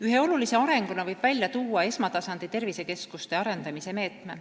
Ühe arengusuunana võib näiteks tuua esmatasandi tervisekeskuste arendamise meetme.